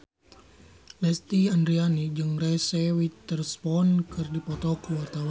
Lesti Andryani jeung Reese Witherspoon keur dipoto ku wartawan